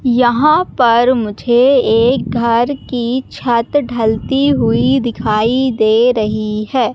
यहां पर मुझे एक घर की छत ढलती हुई दिखाई दे रही है।